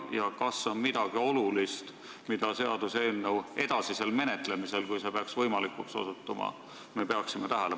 Ja kas on midagi olulist, mida me peaksime tähele panema seaduseelnõu edasisel menetlemisel, kui see peaks võimalikuks osutuma?